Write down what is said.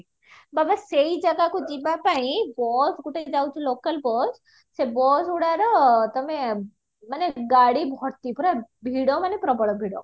ବାବା ସେଇ ଜାଗାକୁ ଜୀବ ପାଇଁ bus ଗୋଟେ ଯାଉଚି local bus ସେ ବସ ଗୁଡାର ତମେ ମାନେ ଗାଡି ଭର୍ତି ପୁରା ଭିଡ ମାନେ ପ୍ରବଳ ଭିଡ